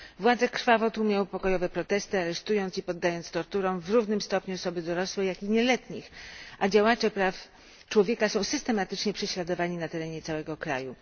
Władze krwawo tłumią pokojowe protesty, aresztując i poddając torturom w równym stopniu osoby dorosłe jak i nieletnich, a działacze praw człowieka są systematycznie prześladowani na terenie całego kraju.